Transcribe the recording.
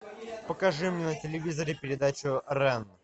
покажи мне на телевизоре передачу рен